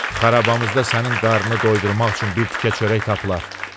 Xarabamızda sənin qarnını doydurmaq üçün bir tikə çörək tapılar.